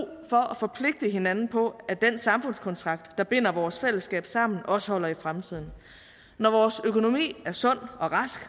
for at forpligte hinanden på at den samfundskontrakt der binder vores fællesskab sammen også holder i fremtiden når vores økonomi er sund og rask